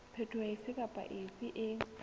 phetoho efe kapa efe e